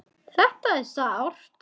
Þetta er sárt.